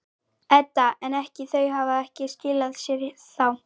Edda: En ekki, þau hafa ekki skilað sér þá?